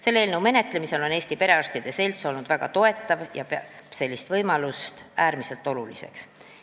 Selle eelnõu menetlemisel on Eesti Perearstide Selts olnud väga toetav ja ta peab sellist võimalust äärmiselt oluliseks.